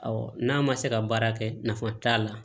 n'a ma se ka baara kɛ nafa t'a la